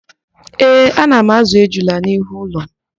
Ee, ana m ázụ̀ ejula n'ihu ụlọ m